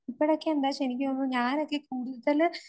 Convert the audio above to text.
ഇപ്പോഴൊക്കെയെന്താ ഞാനൊക്കെ